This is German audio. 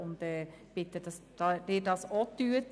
Ich bitte Sie, dasselbe zu tun.